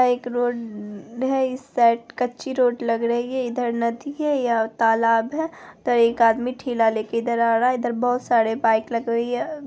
यह एक रोड है इस साइड कच्ची रोड लग रही है इधर नदी है या तालाब है पर एक आदमी ठेला लेकर इधर आ रहा है| इधर बहुत सारी बाइक लगी हुई है।